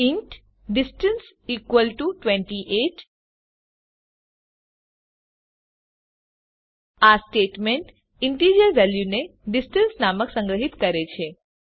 int distance equal to 28 આ statement integer વેલ્યુને distance નામમાં સંગ્રહીત કરે છે